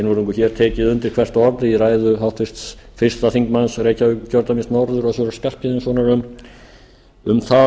einvörðungu hér tekið undir hvert orð í ræðu háttvirts fyrsta þingmanns reykjavíkurkjördæmis norður össurar skarphéðinssonar um það